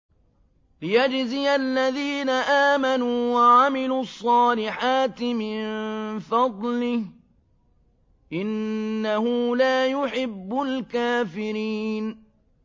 لِيَجْزِيَ الَّذِينَ آمَنُوا وَعَمِلُوا الصَّالِحَاتِ مِن فَضْلِهِ ۚ إِنَّهُ لَا يُحِبُّ الْكَافِرِينَ